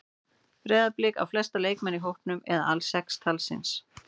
Breiðablik á flesta leikmenn í hópnum eða alls sex talsins.